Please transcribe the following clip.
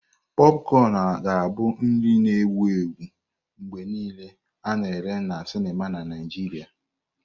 Popcorn ga-abụ nri na-ewu ewu mgbe niile a na-ere na sinima na Naịjirịa.